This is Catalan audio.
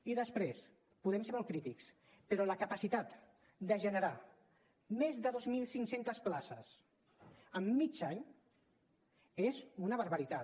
i després podem ser molt crítics però la capacitat de generar més de dos mil cinc cents places en mig any és una barbaritat